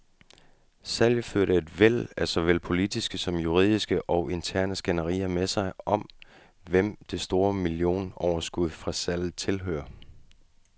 Salget førte et væld af såvel politiske som juridiske og interne skænderier med sig, om hvem det store millionoverskud fra salget tilhører.